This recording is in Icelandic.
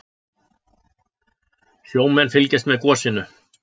Sjómenn fylgjast með gosinu